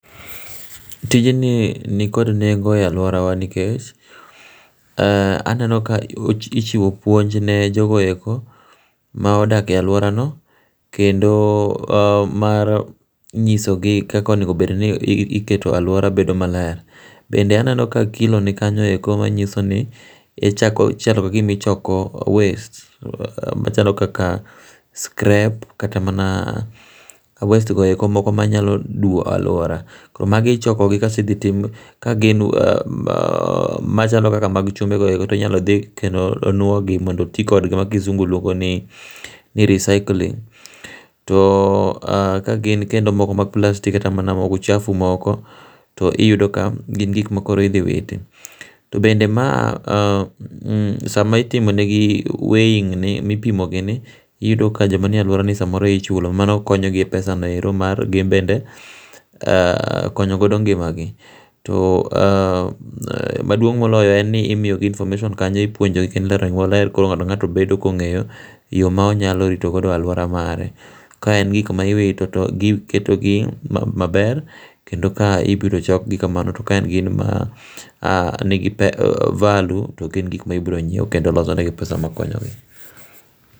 Tijni nikod nengo e alworawa nikech aneno ka ichiwo puonj ne jogoeko maodak e alworano, kendo mar nyisogi kaka onego bedni iketo alwora bedo maler. Bende aneno ka kilo ni kanyoeko manyiso ni chalo kagima ichoko waste machalo kaka scrap kata mana wwaste goeko manyalo duwo alwora. Koro magi ichokogi kasto idhitim kagin machalo kaka mag chumbegoeko tinyalo dhi kendo nuogi mondo oti kodgi ma kisungu luongo ni recycling. To kagin kendo moko mag plastik kata mana mag ochafu moko, to iyudo ka gin gik ma koro idhi witi. To bende ma sama itimonegi weighing ni mipimogi ni, iyudo ka joma nie alworani ichulo mano konyogi gi pesa noero mar gibende konyo godo ngimagi. To maduong' moloyo en ni imiyogi information kanyo ipuonjogi kendo ileronegi maler koro ng'ato ka ng'ato bedo kong'eyo yo ma onyalo ritogo anyuola mare. Kaen gik ma iwito to giketogi maber kendo ka ibiro chokgi kamano. To ka en gin ma nigi value to gin gik ma ibiro nyiew kendo kelo pesa makonyogi.